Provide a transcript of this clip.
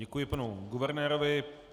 Děkuji panu guvernérovi.